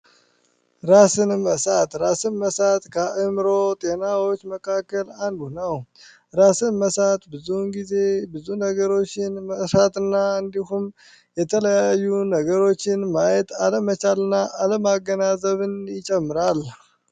ራስን መሳት ራስን መሳት ከአእምሮ ጤናዎች መካከል አንዱ ነው ራስን መሳት ብዙ ጊዜ ብዙ ነገሮችን መርሳትና እንዲሁም የተለያዩ ነገሮችን ማየት አለመቻልና አለማገናዘብን ይጨምራል።